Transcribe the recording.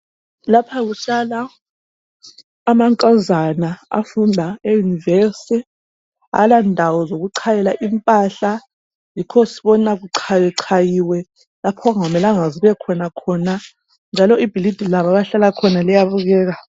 Lapha kuhlala amankazana afunda euniversity, abala ndawo zokuchayela impahla yikho sibona kuchayachayiwe impahla njalo ibhilidi labo abahlala khona liyabukeka.